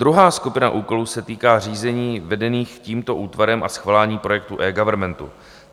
Druhá skupina úkolů se týká řízení vedených tímto útvarem a schvalování projektu eGovernmentu.